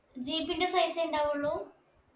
jeep ന്റെ size എ ഉണ്ടാവുള്ളു